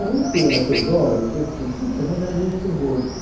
O único problema da Teodoro, que assim, fim de semana era meio terror.